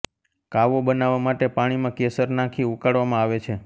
કાવો બનાવવા માટે પાણીમાં કેસર નાંખી ઉકાળવામાં આવે છે